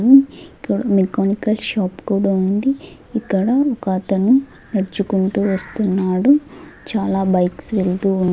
ఇక్కడ mechanical shop కూడా ఉంది ఇక్కడ ఒక అతను నడుచుకుంటూ వస్తున్నాడు చాలా బైక్స్ వెళ్తూ ఉన్న--